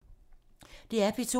DR P2